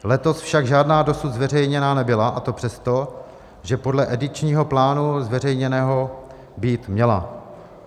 Letos však žádná dosud zveřejněna nebyla, a to přesto, že podle edičního plánu zveřejněného být měla.